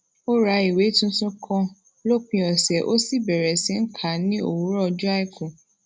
ó ra ìwé tuntun kan lópin òsè ó sì bèrè sí í kà á ní òwúrò ojó aiku